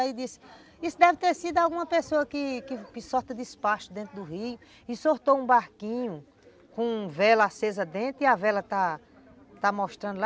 Aí disse, isso deve ter sido alguma pessoa que que solta despacho dentro do rio e soltou um barquinho com vela acesa dentro e a vela está está mostrando lá.